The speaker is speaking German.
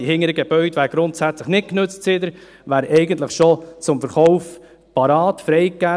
Die hinteren Gebäude werden seither grundsätzlich nicht genützt und wären eigentlich schon freigegeben, zum Verkauf bereit.